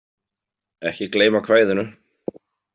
Ekki gleyma kvæðinu.